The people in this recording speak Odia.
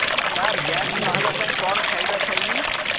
ସାର ଗ୍ୟାସ ନ ହେବା ପାଇଁ କଣ ଖାଇବା ଖାଇବି